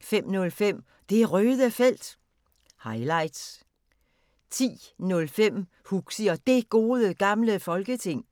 05:05: Det Røde Felt – highlights 10:05: Huxi og Det Gode Gamle Folketing